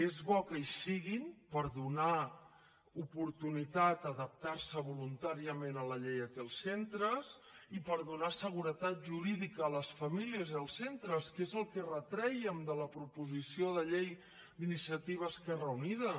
és bo que hi siguin per donar oportunitat a adaptarse voluntàriament a la llei aquí als centres i per donar seguretat jurídica a les famílies i als centres que és el que retrèiem de la proposició de llei d’iniciativa esquerra unida